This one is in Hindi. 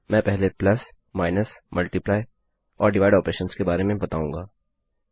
मैं पहले प्लस माइनस मल्टीप्लाय और डिवाइड ऑपरेशन्स के बारे में बताऊँगा